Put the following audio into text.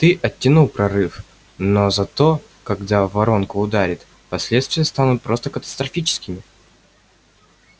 ты оттянул прорыв но зато когда воронка ударит последствия станут просто катастрофическими